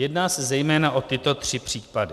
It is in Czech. Jedná se zejména o tyto tři případy: